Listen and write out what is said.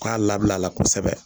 K'a labilala kosɛbɛ